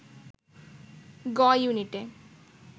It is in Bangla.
গ-ইউনিটে